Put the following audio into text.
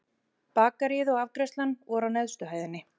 Bakaríið og afgreiðslan voru á neðstu hæðinni.